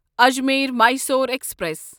Ajmer Mysore express